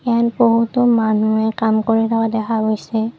ইয়াত বহুতো মানুহে কাম কৰি থকা দেখা গৈছে।